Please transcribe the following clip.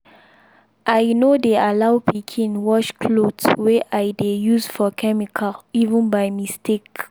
i no dey allow pikin wash cloth wey i dey use for chemical even by mistake.